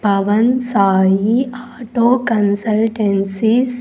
Pawan Sai auto consultancies .